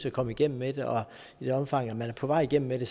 at komme igennem med det og i det omfang man er på vej igennem med det